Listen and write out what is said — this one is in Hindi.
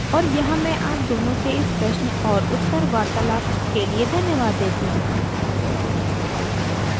और यहाँ मैं आप दोनों को इस प्रश्न और उत्तर वार्तालाप के लिए धन्यवाद देती हूँ